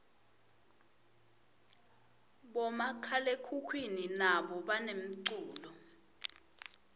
bomakhalekhukhwini nabo banemculo